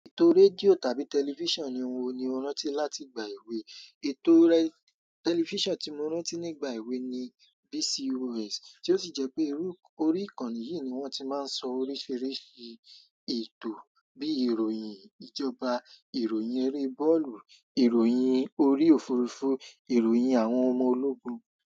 Ètò rédíò tàbí tẹlifíṣàn ní wo ni o rántí láti ìgbà èwe, ètò re tẹlifíṣàn tí mo rántí nígbà èwe ni BCOS tí ó si jẹ́ pé iru, orí ìkànnì yìí ni wón ti máa ń sọ oríṣiríṣi ètò bí i ìròyìn ìjọba, ìròyìn eré bọ́ọ̀lù, ìròyìn orí òfurufú, ìròyìn àwọn ọmọ ológun.